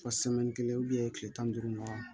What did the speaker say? Fɔ kelen tile tan ni duuru ɲɔgɔn ma